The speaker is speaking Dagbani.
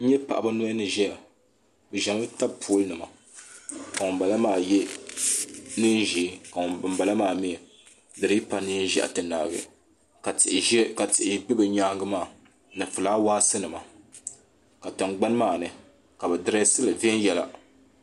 n nyɛ paɣaba noli ni ʒɛya bi ʒɛmi tabi pool nima ka ŋunbala maa yɛ neen ʒiɛ bin bala maa mii di dii pa neen ʒiɛhi ti naai ka tihi bɛ bi nyaangi maa ni fulaawaasi nima ka tingbani maa ni ka bi dirɛsili viɛnyɛla